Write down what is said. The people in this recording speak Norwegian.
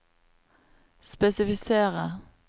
spesifisere